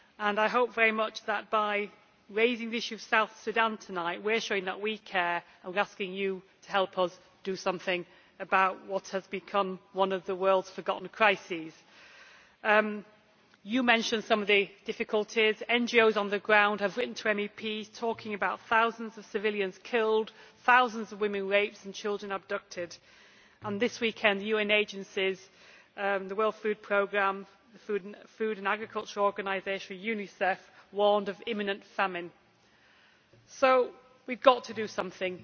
I hope very much that by raising the issue of South Sudan tonight we are showing that we care and are asking you to help us do something about what has become one of the world's forgotten crises. You mentioned some of the difficulties. NGOs on the ground have written to MEPs talking about thousands of civilians killed, thousands of women raped and children abducted. This weekend the UN agencies the World Food Programme, the Food and Agriculture Organization and UNICEF warned of imminent famine. So we have got to do something.